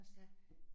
Ja